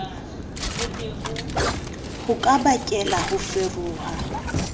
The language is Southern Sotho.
ho ka bakela ho feroha